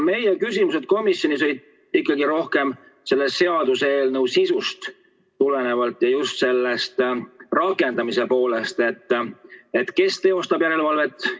Meie küsimused komisjonis tulenesid ikkagi rohkem selle seaduseelnõu sisust ja just rakendamise poolest – kes teostab järelevalvet.